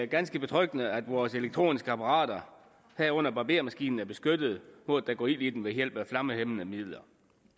ganske betryggende at vores elektroniske apparater herunder barbermaskiner er beskyttet mod at der går ild i dem ved hjælp af flammehæmmende midler